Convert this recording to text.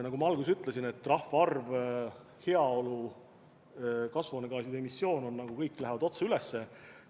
Nagu ma alguses ütlesin, rahvaarv, heaolu ja kasvuhoonegaaside emissioon kõik on nagu otse üles läinud.